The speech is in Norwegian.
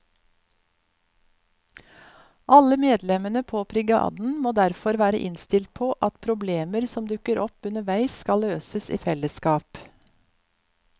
Alle medlemmene på brigaden må derfor være innstilt på at problemer som dukker opp underveis skal løses i fellesskap.